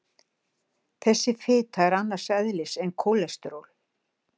Þessi fita er annars eðlis en kólesteról.